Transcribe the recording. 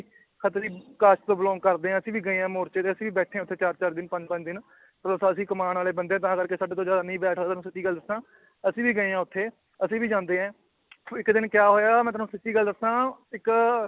Khatri caste ਤੋਂ belong ਕਰਦੇ ਹਾਂ ਅਸੀਂ ਵੀ ਗਏ ਹਾਂ ਮੋਰਚੇ ਤੇ, ਅਸੀਂ ਬੈਠੇ ਹਾਂ ਉੱਥੇ ਚਾਰ ਚਾਰ ਦਿਨ ਪੰਜ ਪੰਜ ਦਿਨ ਉਹ ਤਾਂ ਅਸੀਂ ਕਮਾਉਣ ਵਾਲੇ ਬੰਦੇ ਹਾਂ ਤਾਂ ਕਰਕੇ ਸਾਡੇ ਤੋਂ ਜ਼ਿਆਦਾ ਬੈਠ ਹੋਇਆ ਤੁਹਾਨੂੰ ਸੱਚੀ ਗੱਲ ਦੱਸਾਂ ਅਸੀਂ ਵੀ ਗਏ ਹਾਂ ਉੱਥੇ ਅਸੀਂ ਵੀ ਜਾਂਦੇ ਹਾਂ ਇੱਕ ਦਿਨ ਕਿਆ ਹੋਇਆ ਮੈਂ ਤੁਹਾਨੂੰ ਸੱਚੀ ਗੱਲ ਦੱਸਾਂ ਇੱਕ